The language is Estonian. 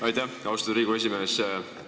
Aitäh, austatud Riigikogu esimees!